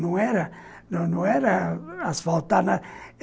Não era não não era asfaltado.